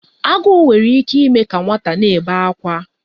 Agụụ nwere ike ime ka nwata na-ebe akwa.